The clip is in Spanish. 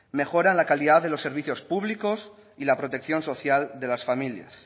mejoran la calidad de los servicios públicos y la protección social de las familias